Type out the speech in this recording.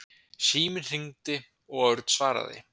Síminn hringdi og Örn svaraði.